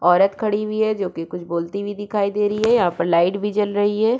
औरत खडी हुई है जो की कुछ बोलती हुई दिखाई दे रही है यहाँ पर लाइट भी जल रही है।